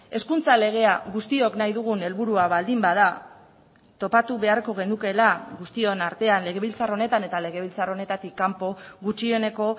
hezkuntza legea guztiok nahi dugun helburua baldin bada topatu beharko genukeela guztion artean legebiltzar honetan eta legebiltzar honetatik kanpo gutxieneko